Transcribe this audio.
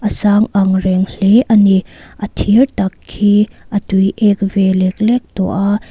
a sang angreng hle a ni a thir tak khi a tui ek ve lek lek tawh a--